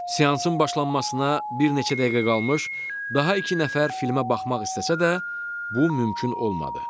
Seansın başlamasına bir neçə dəqiqə qalmış daha iki nəfər filmə baxmaq istəsə də, bu mümkün olmadı.